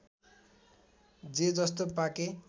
जे जस्तो पाके